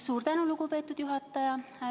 Suur tänu, lugupeetud juhataja!